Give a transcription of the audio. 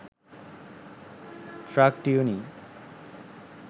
truck tuning